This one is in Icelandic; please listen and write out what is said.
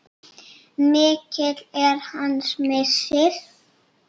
Mikill er hans missir.